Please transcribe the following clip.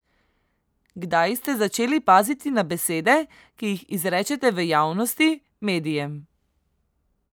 Kdaj ste začeli paziti na besede, ki jih izrečete v javnosti, medijem?